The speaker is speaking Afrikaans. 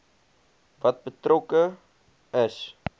wat betrokke is